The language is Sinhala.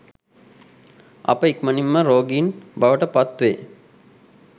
අප ඉක්මණින් ම රෝගීන් බවට පත් වේ.